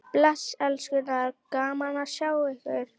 Bless elskurnar, gaman að sjá ykkur!